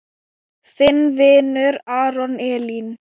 Þinn vinur, Aron Elí.